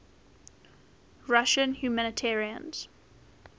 russian humanitarians